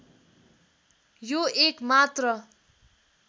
यो एक मात्र